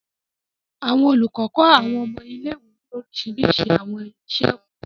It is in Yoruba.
Àwọn olukọ kọ Àwọn ọmọ ile-iwe ni oriṣiriṣi àwọn iṣẹ-ẹkọ.